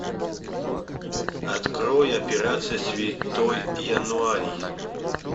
открой операция святой януарий